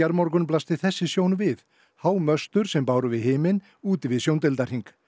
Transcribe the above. morgun blasti þessi sjón við há möstur sem báru við himinn úti við sjóndeildarhring